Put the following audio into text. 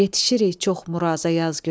yetişirik çox muraza yaz günü.